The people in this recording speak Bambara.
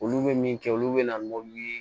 Olu bɛ min kɛ olu bɛ na ni ye